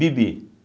Bibi.